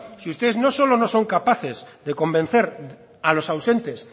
si ustedes no solo no son capaces de convencer a los ausentes